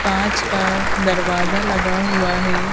कांच का दरवाजा लगा हुआ है।